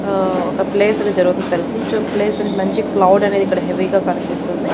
ఆ ఒక ప్లేస్ అని జరుగుతుంది అని తెలుసు సొ ప్లేస్ అనేది మంచిగా క్లౌడ్ అనేది ఇక్కడ హెవీగా కనిపిస్తుంది.